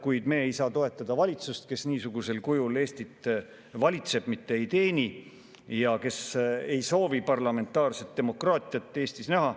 Kuid me ei saa toetada valitsust, kes niisugusel kujul Eestit valitseb, mitte ei teeni, ja kes ei soovi parlamentaarset demokraatiat Eestis näha.